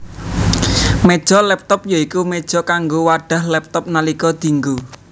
Méja laptop ya iku méja kanggo wadhah laptop nalika dienggo